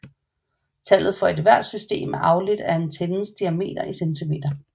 Tallet for hver system er afledt af antennens diameter i centimeter